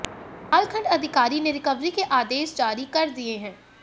बहरहाल खंड अधिकारी ने रिकवरी के आदेश जारी कर दिए हैं